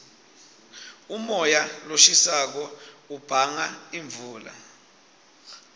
umoya loshisako ubanga imvula